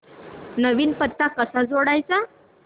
नवीन पत्ता कसा जोडायचा